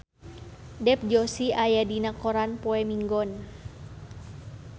Dev Joshi aya dina koran poe Minggon